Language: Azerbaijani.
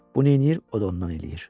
Bu neyləyir, o da ondan eləyir.